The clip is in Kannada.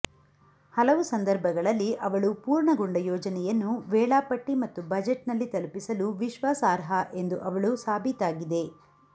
ಹಲವು ಸಂದರ್ಭಗಳಲ್ಲಿ ಅವಳು ಪೂರ್ಣಗೊಂಡ ಯೋಜನೆಯನ್ನು ವೇಳಾಪಟ್ಟಿ ಮತ್ತು ಬಜೆಟ್ನಲ್ಲಿ ತಲುಪಿಸಲು ವಿಶ್ವಾಸಾರ್ಹ ಎಂದು ಅವಳು ಸಾಬೀತಾಗಿದೆ